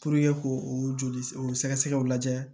k'o o joli o sɛgɛsɛgɛw lajɛ